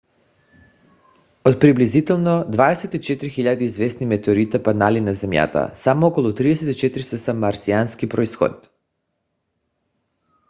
от приблизително 24 000 известни метеорита паднали на земята само около 34 са с марсиански произход